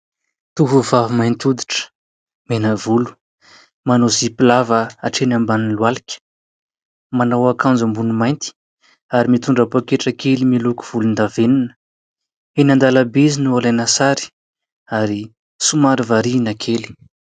Tovovavy mainty hoditra, mena volo, manao zipo lava hatreny ambanin'ny lohalika, manao akanjo ambony mainty ary mitondra pôketra kely miloko volondavenona. Eny an-dalambe izy no alaina sary ary somary variana kely.